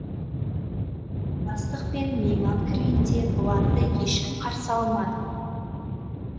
бастық пен мейман кіргенде бұларды ешкім қарсы алмады